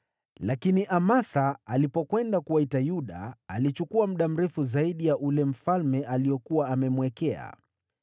Lakini Amasa alipokwenda kuwaita Yuda, alichukua muda mrefu zaidi ya ule mfalme aliokuwa amemwekea.